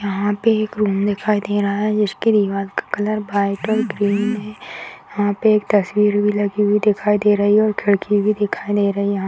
यहाँ पे एक रूम दिखाई दे रहा है जिसके दिवाल का कलर व्हाइट और ग्रीन है यहाँ पे एक तस्वीर भी लगी हुई दिखाई दे रही है और खिड़की भी दिखाई दे रही है यहाँ --